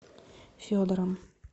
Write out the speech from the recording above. федором